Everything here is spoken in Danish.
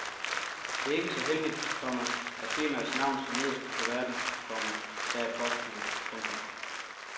Det er ikke så heldigt, komma at firmaets navn står nederst på kuverten, komma sagde postbudet. punktum